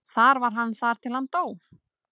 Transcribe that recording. Þar var hann þar til hann dó.